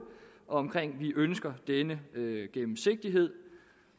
om at vi ønsker denne gennemsigtighed